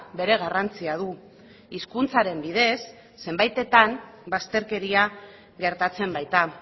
bere garrantzia du hizkuntzaren bidez zenbaitetan bazterkeria gertatzen baita